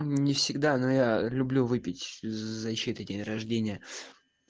мм не всегда но я люблю выпить за чей-то день рождения